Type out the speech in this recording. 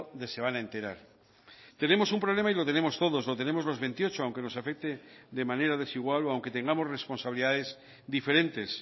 de se van a enterar tenemos un problema y lo tenemos todos lo tenemos los veintiocho aunque nos afecte de manera desigual o aunque tengamos responsabilidades diferentes